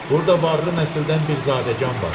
Burda varlı nəsildən bir zadəgan var.